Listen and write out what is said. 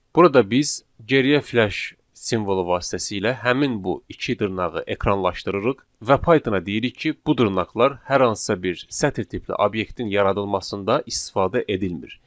Burada biz geriyə f-slash simvolu vasitəsilə həmin bu iki dırnağı ekranlaşdırırıq və Pythona deyirik ki, bu dırnaqlar hər hansısa bir sətir tipli obyektin yaradılmasında istifadə edilmir.